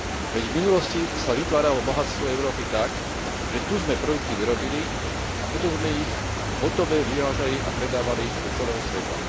Veď v minulosti sa vytváralo bohatstvo Európy tak, že tu sme produkty vyrobili a potom sme ich hotové vyvážali a predávali do celého sveta.